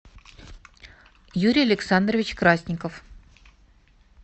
юрий александрович красников